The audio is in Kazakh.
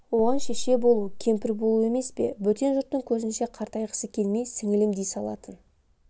оған шеше болу кемпір болу емес пе бөтен жұрттың көзінше қартайғысы келмей сіңілім дей салатын